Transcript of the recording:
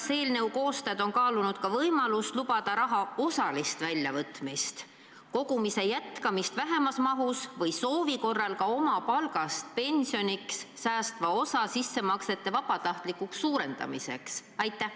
Kas eelnõu koostajad on kaalunud võimalust lubada raha osaliselt välja võtta ja jätkata kogumist väiksemas mahus või soovi korral hoopis oma palgast pensioniks mineva osa sissemakseid suurendada?